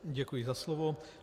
Děkuji za slovo.